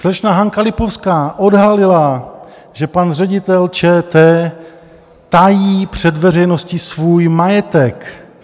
Slečna Hanka Lipovská odhalila, že pan ředitel ČT tají před veřejností svůj majetek!